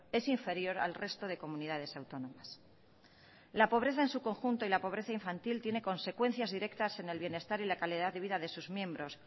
es inferior al resto de comunidades autónomas la pobreza en su conjunto y la pobreza infantil tiene consecuencias directas en el bienestar y la calidad de vida de sus miembros